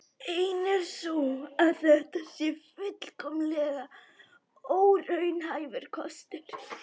Ein er sú að þetta sé fullkomlega óraunhæfur kostur.